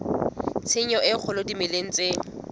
tshenyo e kgolo dimeleng tse